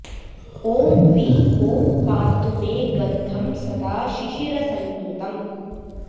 ॐ वि ॐ पातु मे गन्धं सदा शिशिरसंयुतम्